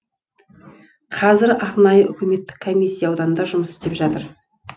қазір арнайы үкіметтік комиссия ауданда жұмыс істеп жатыр